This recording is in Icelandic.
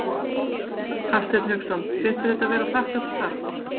Hafsteinn Hauksson: Finnst þér þetta vera þakklátt starf?